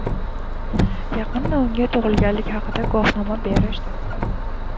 Yaqinda unga tug‘ilganlik haqida guvohnoma berishdi.